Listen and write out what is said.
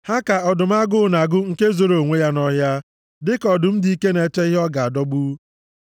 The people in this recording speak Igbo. Ha ka ọdụm agụụ na-agụ nke zoro onwe ya nʼọhịa, dịka ọdụm dị ike na-eche ihe ọ ga-adọgbu.